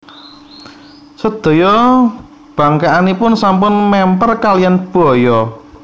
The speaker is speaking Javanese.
Sedaya bangkèkanipun sampun mèmper kaliyan baya